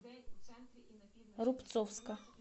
рубцовска